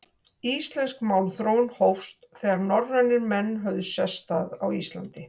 Íslensk málþróun hófst, þegar norrænir menn höfðu sest að á Íslandi.